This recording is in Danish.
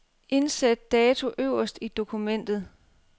Indsæt dato øverst i dokumentet.